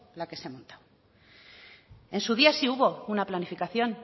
la que se ha montado en su día sí hubo una planificación